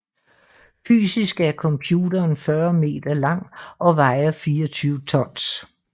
Fysisk er computeren 40 meter lang og vejer 24 tons